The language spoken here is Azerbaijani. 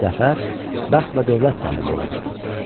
Zəfər, bəxt və dövlət sahibi olmuşdu.